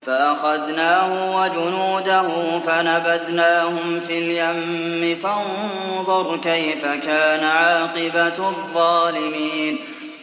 فَأَخَذْنَاهُ وَجُنُودَهُ فَنَبَذْنَاهُمْ فِي الْيَمِّ ۖ فَانظُرْ كَيْفَ كَانَ عَاقِبَةُ الظَّالِمِينَ